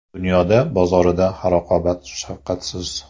Dunyoda bozorida raqobat shafqatsiz.